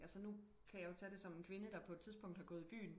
Altså nu kan jeg jo tage det som en kvinde der på et tidspunkt har gået i byen